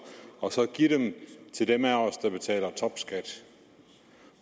og give dem til dem af os der betaler topskat